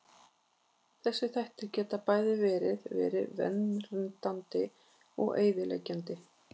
Þessir þættir geta bæði verið verið verndandi og eyðileggjandi.